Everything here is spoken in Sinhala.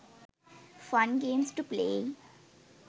fun games to play